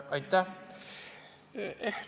Aitäh!